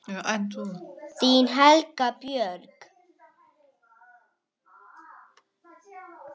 Þín Helga Björk.